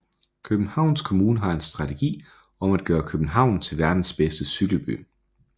Københavns Kommune har en strategi om at gøre København til verdens bedste cykelby